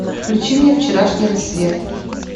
включи мне вчерашний рассвет